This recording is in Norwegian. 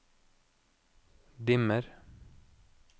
dimmer